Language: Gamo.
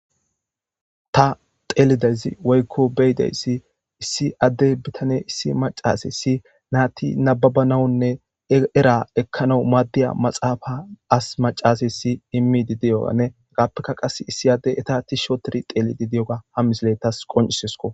Ta teelidayzi woykko beyidayssi issi addey bitane issi macasessi naati nababanawunne era ekkanau maaddiya maxaafa as macaseyssi imidi diyogane agappeka qas issi addey eta ti sho tiri xeelidi diyoga ha mislettas qoncisesko.